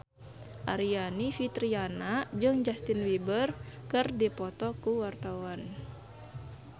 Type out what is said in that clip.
Aryani Fitriana jeung Justin Beiber keur dipoto ku wartawan